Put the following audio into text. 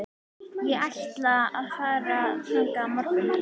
Ég ætla að fara þangað á morgun.